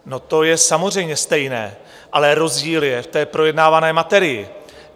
No, to je samozřejmě stejné, ale rozdíl je v té projednávané materii.